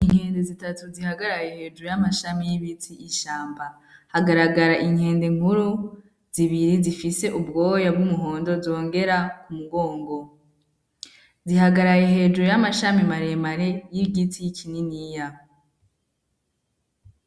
Inkende zitatu zihagaraye hejuru y'amashami y'ibiti ishamba, hagaragara inkende nkuru, zibiri zifise ubwoya bw'umuhondo zongera ku mugongo, zihagaraye hejuru y'amashami maremare y'igiti kininiya.